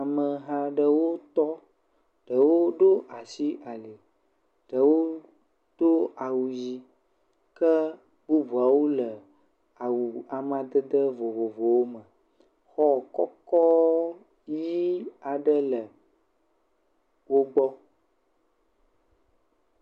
Ameha aɖewo tɔ, ɖewo ɖo asi ali. Ɖewo do awu yii. Ke bubuawo le awu amadede vovovowo me. xɔ kɔkɔɔɔ nyuie aɖe le wogbɔ.